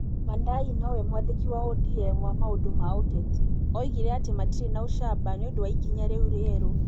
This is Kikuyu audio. Wandayi no we mwandĩki wa ODM wa maũndũ ma ũteti. Oigire atĩ matirĩ na ũcamba nĩ ũndũ wa ikinya rĩu rĩerũ.